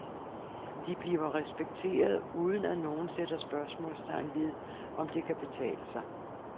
De bliver respekteret, uden at nogen sætter spørgsmålstegn ved, om det kan betale sig.